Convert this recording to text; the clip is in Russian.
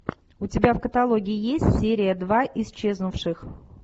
у тебя в каталоге есть серия два исчезнувших